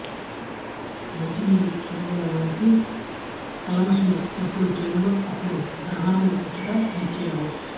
మంచి నీళ్ల చెరువుల లోనికి కల్మషము ఎప్పుడు చేరునో అప్పుడు గ్రహణము వచ్చుట నిశ్చయము